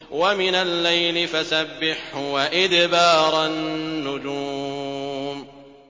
وَمِنَ اللَّيْلِ فَسَبِّحْهُ وَإِدْبَارَ النُّجُومِ